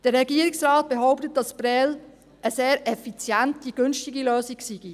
Der Regierungsrat behauptet, dass Prêles eine sehr effiziente, günstige Lösung sei.